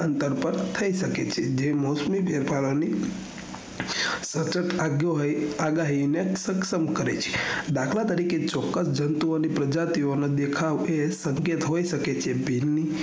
સતત આગિયો હોયી આગાહી ને સક્ષમ કરે છે દાખલા તરીકે ચોકકસ જંતુઓ ની પ્રજાતિઓ નો દેખાવ ફિર દેખવેદ હોય શકે છે